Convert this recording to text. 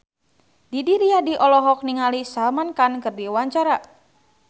Didi Riyadi olohok ningali Salman Khan keur diwawancara